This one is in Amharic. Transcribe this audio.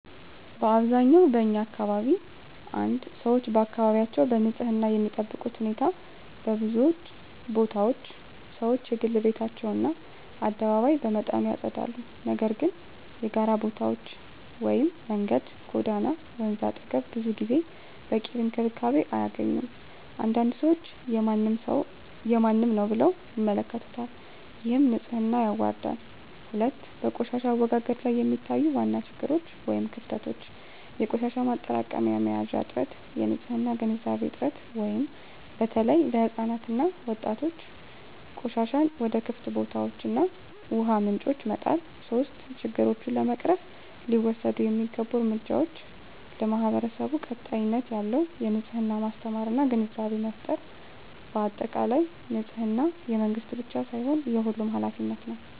በአብዛኛው በኛ አካባቢ 1️⃣ ሰዎች አካባቢያቸውን በንፅህና የሚጠብቁበት ሁኔታ በብዙ ቦታዎች ሰዎች የግል ቤታቸውን እና አደባባይ በመጠኑ ያጸዳሉ፤ ነገር ግን የጋራ ቦታዎች (መንገድ፣ ጎዳና፣ ወንዝ አጠገብ) ብዙ ጊዜ በቂ እንክብካቤ አያገኙም። አንዳንድ ሰዎች “የማንም ነው” ብለው ይመለከቱታል፣ ይህም ንፅህናን ያዋርዳል። 2, በቆሻሻ አወጋገድ ላይ የሚታዩ ዋና ችግሮች / ክፍተቶች - የቆሻሻ ማጠራቀሚያ መያዣዎች እጥረት -የንፅህና ግንዛቤ እጥረት (በተለይ ለሕፃናት እና ወጣቶች) -ቆሻሻን ወደ ክፍት ቦታዎች እና ውሃ ምንጮች መጣል 3, ችግሮቹን ለመቅረፍ ሊወሰዱ የሚገቡ እርምጃዎች ,ለማህበረሰቡ ቀጣይነት ያለው የንፅህና ማስተማር እና ግንዛቤ ፍጠር በአጠቃላይ፣ ንፅህና የመንግስት ብቻ ሳይሆን የሁሉም ኃላፊነት ነው።